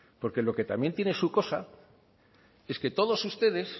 porque lo que también tiene su cosa es que todos ustedes